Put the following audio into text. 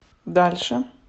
дальше